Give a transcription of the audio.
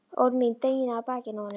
Orð mín dynja á bakinu á honum.